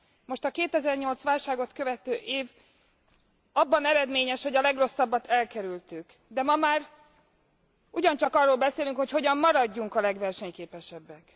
Most a 2008 as válságot követő év abban eredményes, hogy a legrosszabbat elkerültük. De ma már ugyancsak arról beszélünk, hogy hogyan maradjunk a legversenyképesebbek.